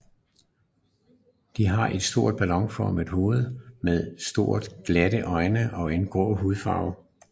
De har et stort ballonformet hoved med to store glatte øjne og en grå hudfarve